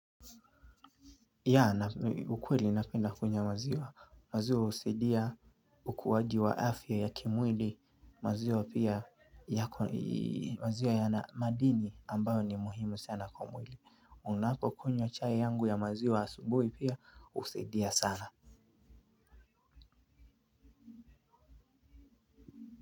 Yeah, ukweli ninapenda kunywa maziwa. Maziwa husaidia ukuaji wa afya ya kimwili maziwa pia yana madini ambayo ni muhimu sana kwa mwili ninapokunywa chai yangu ya maziwa asubuhi pia husaidia sana.